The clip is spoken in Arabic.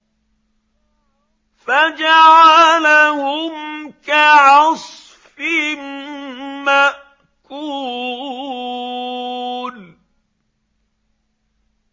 فَجَعَلَهُمْ كَعَصْفٍ مَّأْكُولٍ